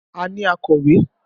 A ní akọ̀wé.